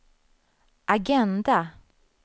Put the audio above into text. agenda